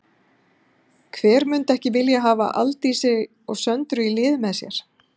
Hver myndi ekki vilja hafa Aldísi og Söndru í liði með sér?